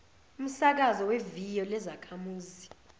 umsakazo weviyo lezakhamuzi